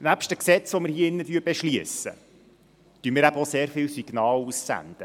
Nebst den Gesetzen, die wir hier drin beschliessen, senden wir eben auch sehr viele Signale aus.